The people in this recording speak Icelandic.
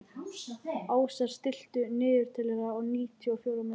Ásar, stilltu niðurteljara á níutíu og fjórar mínútur.